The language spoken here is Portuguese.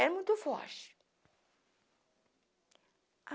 Era muito forte.